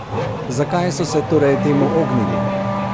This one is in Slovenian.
Zakaj so se torej temu ognili?